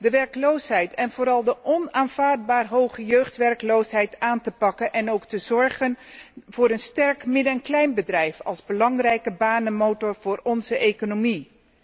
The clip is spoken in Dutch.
De werkloosheid en vooral de onaanvaardbare hoge jeugdwerkloosheid aan te pakken en ook te zorgen voor een sterk midden en kleinbedrijf als belangrijke banenmotor voor onze economie.